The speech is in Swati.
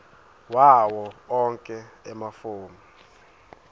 wawo onkhe emafomu